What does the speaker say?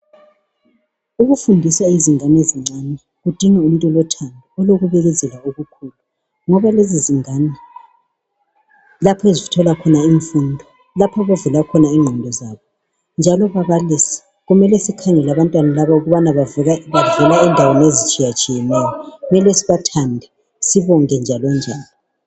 Ukufundisa izingane ezincane kudinga umuntu lothando olokubekezela okukhulu Ngoba lezi zingane lapho ezithola khona imfundo lapha abavula khona ingqondo zabo. Njalo ababaliisi kumele sikhangele abantwana laba ukubana bavela endaweni ezithiyetshiyeneyo kumele sibathande sibonge njalonjalo.